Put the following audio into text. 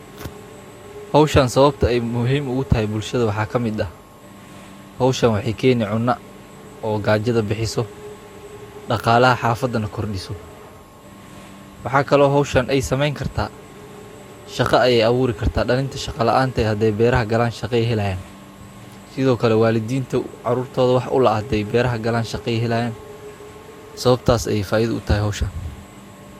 Beddelka dalagga waa farsamo muhiim ah oo beeralayda ay isticmaalaan si ay u hagaajiyaan tayada ciidda, u kordhiyaan wax-soosaarka, una yareeyaan cudurrada iyo cayayaanka dhirta. Marka dalagyo kala duwan lagu beero isla goobta sanad walba si isku xiga, ciidda waxay helaysaa nafaqooyin kala duwan oo ku habboon dalagyadaas, taasoo ka hortagaysa.